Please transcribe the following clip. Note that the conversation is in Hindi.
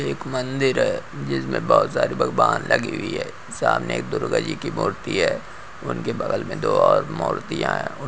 एक मंदिर है जिसमे भोत सारे भगबान लगी हुई है सामने एक दुर्गा जी की मूर्ति है उनके बगल में दो और मुर्तियाँ हैं।